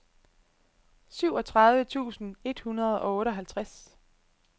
syvogtredive tusind et hundrede og otteoghalvtreds